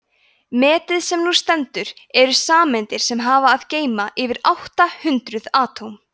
metið sem nú stendur eru sameindir sem hafa að geyma yfir átta hundruð atóm